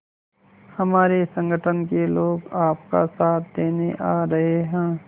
हमारे संगठन के लोग आपका साथ देने आ रहे हैं